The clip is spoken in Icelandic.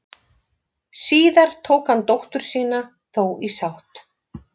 Síðar tók hann dóttur sína þó í sátt.